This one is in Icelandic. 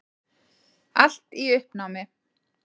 Allt í uppnámi.